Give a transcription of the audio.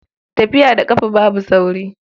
Tafiya da ƙafa babu sauri.